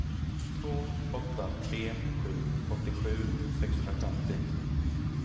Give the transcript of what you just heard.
två åtta tre sju åttiosju sexhundrafemtio